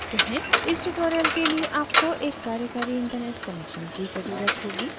इस tutorial के लिए आपको एक कार्यकारी internet connection की ज़रूरत होगी